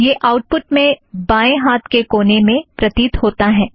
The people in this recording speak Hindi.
यह आउटपुट में बाएँ हाथ के कोने में प्रतीत होता है